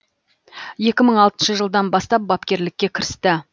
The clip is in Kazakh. екі мың алтыншы жылдан бастап бапкерлікке кірісті